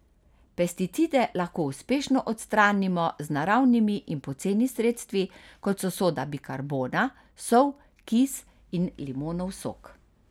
Pesticide lahko uspešno odstranimo z naravnimi in poceni sredstvi, kot so soda bikarbona, sol, kis in limonov sok.